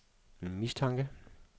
mistanke